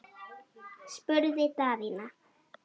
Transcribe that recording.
spurði Daðína.